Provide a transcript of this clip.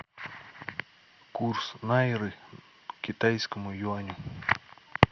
курс найры к китайскому юаню